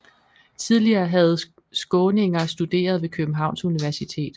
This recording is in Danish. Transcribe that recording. Tidligere havde skåninger studeret ved Københavns Universitet